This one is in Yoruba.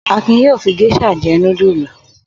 Akin yóò fi géíṣà jẹ́ núdúlù.